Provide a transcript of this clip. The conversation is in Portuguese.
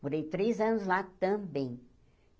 Morei três anos lá também.